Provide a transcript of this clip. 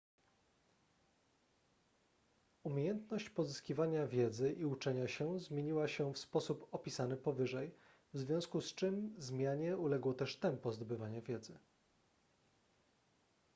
umiejętność pozyskiwania wiedzy i uczenia się zmieniła się w sposób opisany powyżej w związku z czym zmianie uległo też tempo zdobywania wiedzy